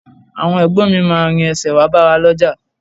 Àwọn Ẹ̀gbọ́n mi máa rin ẹsẹ̀ wá bá wa lọ́jà